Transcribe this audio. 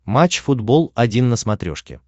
матч футбол один на смотрешке